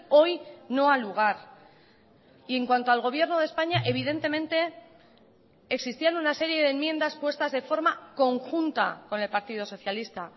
hoy no ha lugar y en cuanto al gobierno de españa evidentemente existían una serie de enmiendas puestas de forma conjunta con el partido socialista